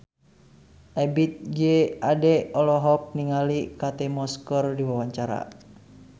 Ebith G. Ade olohok ningali Kate Moss keur diwawancara